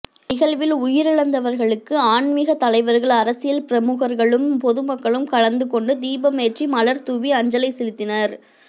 நிகழ்வில் உயிரிழந்தவர்களுக்கு ஆன்மீகத் தலைவர்கள் அரசியல் பிரமுகர்களும் பொதுமக்களும் கலந்து கொண்டு தீபமேற்றி மலர்தூவி அஞ்சலி செலுத்தினர்